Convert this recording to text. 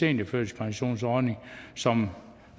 seniorførtidspensionsordning som